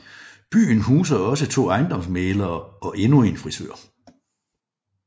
Byen huser også to ejendomsmæglere og endnu en frisør